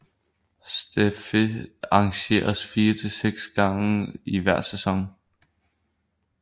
Stafet arrangeres fire til seks gange i hver sæson